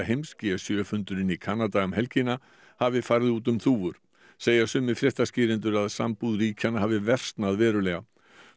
heims g sjö fundurinn í Kanada um helgina hafi farið út um þúfur segja sumir fréttaskýrendur að sambúð ríkjanna hafi versnað verulega